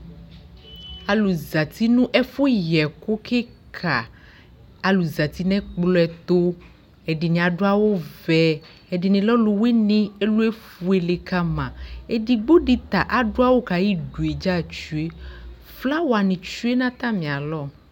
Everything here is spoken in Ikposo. Alʋ zati nʋ ɛfʋyɛkʋ kɩka Alʋ zati nʋ ɛkplɔ ɛtʋ, ɛdɩnɩ adʋ awʋvɛ, ɛdɩnɩ lɛ ɔlʋwɩnɩ, ɛlʋ efuele ka ma Edigbo dɩ ta adʋ awʋ kʋ ayidu yɛ dza tsue Flawanɩ tsue nʋ atamɩalɔ